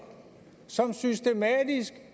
som systematisk